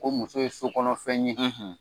Ko muso ye sokɔnɔ fɛn ye.